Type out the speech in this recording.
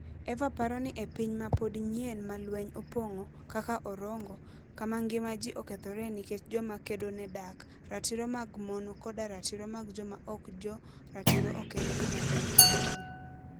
Eva paro ni e piny ma pod nyien ma lweny opong'o, kaka Orongo, kama ngima ji okethore nikech joma kedo ne dak, ratiro mag mon koda ratiro mag joma ok jo ratiro ok en gima duong' ahinya.